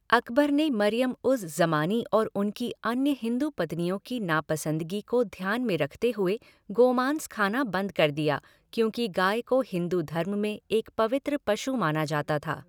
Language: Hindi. अकबर ने मरियम उज़ ज़मानी और उनकी अन्य हिंदू पत्नियों की नापसंदगी को ध्यान में रखते हुए गोमांस खाना बंद कर दिया क्योंकि गाय को हिन्दू धर्म में एक पवित्र पशु माना जाता था।